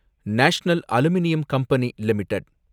national aluminium company limited